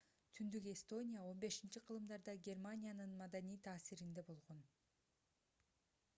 түндүк эстония 15-кылымдарда германиянын маданий таасиринде болгон